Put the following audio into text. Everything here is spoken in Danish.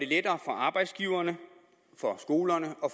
lettere for arbejdsgiverne for skolerne og